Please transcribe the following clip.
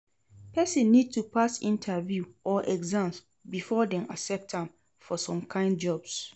Persin need to pass interview or exams before dem accept am for some kind jobs